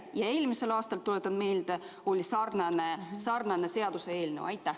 Ja eelmisel aastal, tuletan meelde, oli sarnane seaduseelnõu.